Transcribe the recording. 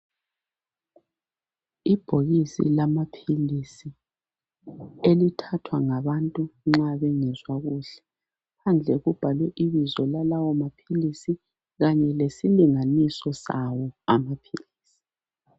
Ibhokisi lama philisi elithathwa ngabantu nxa bengezwa kuhle, phandle kubhalwe ibizo lalawo maphilisi kanye lesi linganiso sawo amaphilisi.